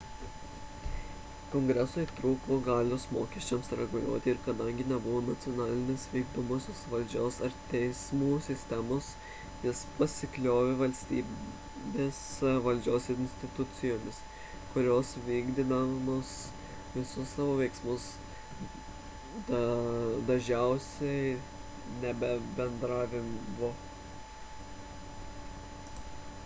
kongresui trūko galios mokesčiams reguliuoti ir kadangi nebuvo nacionalinės vykdomosios valdžios ar teismų sistemos jis pasikliovė valstybės valdžios institucijomis kurios vykdydamos visus savo veiksmus dažiausiai nebendradarbiaudavovo